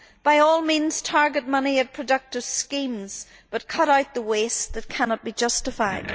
By all means target money at productive schemes, but cut out the waste that cannot be justified.